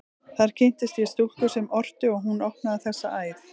Þar kynntist ég stúlku sem orti, og hún opnaði þessa æð.